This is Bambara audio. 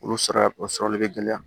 Olu sara o sɔrɔli bɛ gɛlɛya